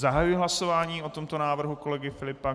Zahajuji hlasování o tomto návrhu kolegy Filipa.